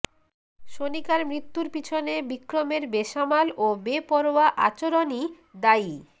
সোনিকার মৃত্যুর পিছনে বিক্রমের বেসামাল ও বেপরোয়া আচরণই দায়ী